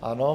Ano.